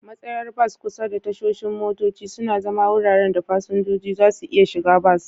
Matsayar bas kusa da tashoshin motoci suna zama wuraren da fasinjoji za su iya shiga bas.